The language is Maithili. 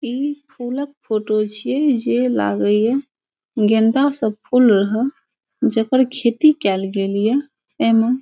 ई फूला क फोटो छिये जे लागै हिय गेंदा सब फ़ूल रह जेकर खेती कैल गेलिए एमा --